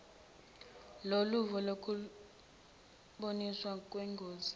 loluvo ngokulumbaniswa kwengosi